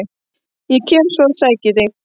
Ég kem svo og sæki þig.